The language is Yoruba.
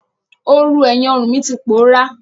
Oorùn ẹ̀yìn ọrùn mi ti pòọ́rá.